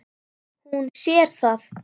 Hún sér það.